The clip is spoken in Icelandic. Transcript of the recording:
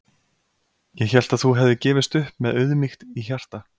Ég hélt að þú hefðir gefist upp með auðmýkt í hjarta.